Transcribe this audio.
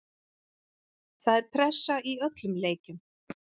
Það er pressa í öllum leikjum.